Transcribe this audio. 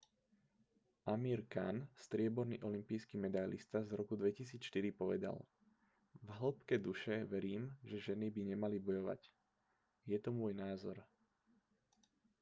amir khan strieborný olympijský medailista z roku 2004 povedal v hĺbke duše verím že ženy by nemali bojovať je to môj názor